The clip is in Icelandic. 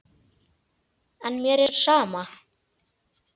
En mér er sama.